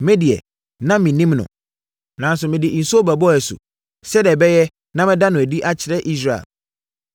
Me deɛ, na mennim no, nanso mede nsuo bɛbɔɔ asu, sɛdeɛ ɛbɛyɛ na mɛda no adi akyerɛ Israel.”